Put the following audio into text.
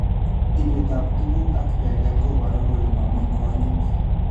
Ibetab tugut ak teget koboru kole mami konyiit